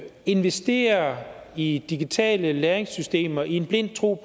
investerer i digitale læringssystemer i den tro